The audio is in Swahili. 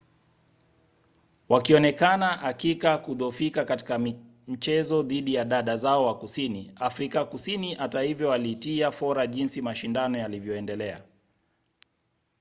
wakionekana hakika kudhoofika katika mchezo dhidi ya dada zao wa kusini afrika kusini hata hivyo walitia fora jinsi mashindano yalivyoendelea